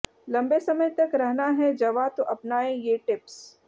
लंबे समय तक रहना है जवां तो अपनाएं ये टिप्स